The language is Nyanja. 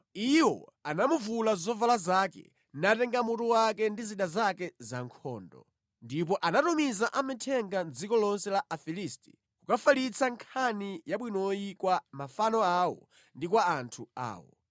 Iwo anamuvula zovala zake, natenga mutu wake ndi zida zake zankhondo. Ndipo anatumiza amithenga mʼdziko lonse la Afilisti kukafalitsa nkhani yabwinoyi kwa mafano awo ndi kwa anthu awo.